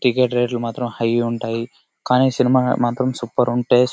Ticket rate లు మాత్రం high గా ఉంటాయి. కానీ సినిమా మాత్రం సూపర్ ఉంటే --